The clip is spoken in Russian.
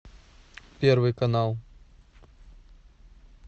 первый канал